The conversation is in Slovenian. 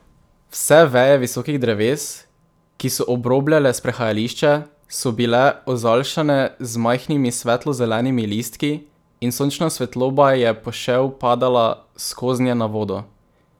Vse veje visokih dreves, ki so obrobljale sprehajališče, so bile ozaljšane z majhnimi svetlo zelenimi listki, in sončna svetloba je pošev padala skoznje na vodo.